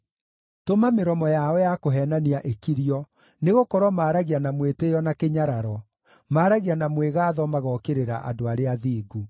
Tũma mĩromo yao ya kũheenania ĩkirio, nĩgũkorwo maaragia na mwĩtĩĩo na kĩnyararo, maaragia na mwĩgaatho magookĩrĩra andũ arĩa athingu.